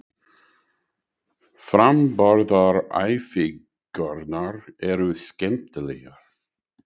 Framburðaræfingarnar eru skemmtilegar.